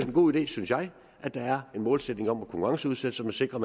en god idé synes jeg at der er en målsætning om at konkurrenceudsætte så man sikrer